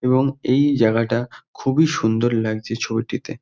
এবং এই জায়গাটা খুবই সুন্দর লাগছে ছবিটিতে।